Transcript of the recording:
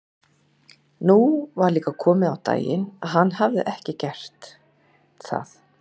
Nú var líka komið á daginn að hann hafði ekki gert það.